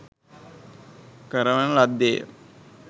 කරවන ලද්දේ ය